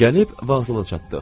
Gəlib vağzala çatdıq.